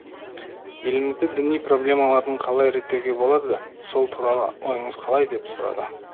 елімізде діни проблемалардың қалай реттеуге болады сол туралы ойыңыз қалай деп сұрады